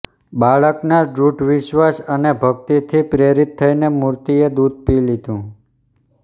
બાળકના દૃઢ વિશ્વાસ અને ભકિતથી પ્રેરિત થઇને મૂર્તિએ દૂધ પી લીધું